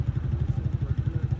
Sağ tərəfdən söhbət gedir.